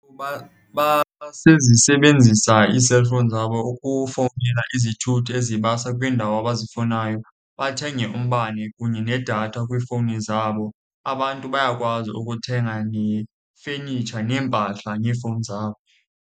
Basezisebenzisa iiselfowuni zabo ukufowunela izithuthi ezibasa kwiindawo abazifunayo, bathenge umbane kunye nedatha kwiifowuni zabo. Abantu bayakwazi ukuthenga nefenitsha neempahla ngeefowuni zabo.